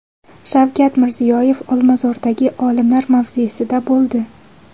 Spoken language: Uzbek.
Shavkat Mirziyoyev Olmazordagi olimlar mavzesida bo‘ldi.